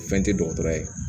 Fɛn tɛ dɔgɔtɔrɔ ye